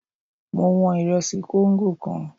Mo wọn ìrẹsì kóńgò kan.